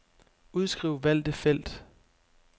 Udskriv valgte felt.